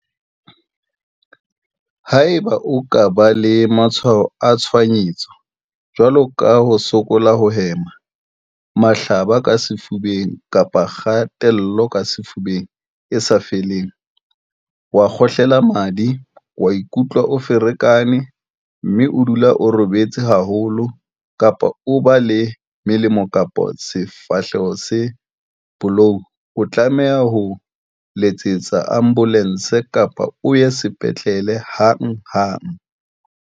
Haeba o ka ba le matshwao a tshohanyetso, jwalo ka ho sokola ho hema, mahlaba a ka sefubeng kapa kgatello ka sefubeng e sa feleng, wa kgohlela madi, wa ikutlwa o ferekane, mme o dula o robetse haholo kapa o ba le melomo kapa sefahleho se bolou o tlameha ho letsetsa ambolense kapa o ye sepetlele hanghang.